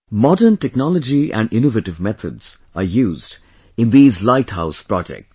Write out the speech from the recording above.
Modern technology and innovative methods are used in these Light House Projects